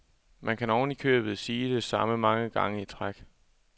Man kan ovenikøbet sige det samme mange gange i træk.